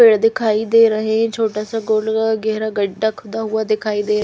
पेड़ दिखाई दे रहे छोटा सा गोल्ड का गहरा गड्ढा खुदा हुआ दिखाई दे--